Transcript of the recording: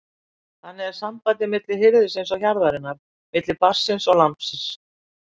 Þannig er sambandið milli hirðisins og hjarðarinnar, milli barnsins og lambsins.